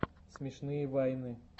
смешные вайны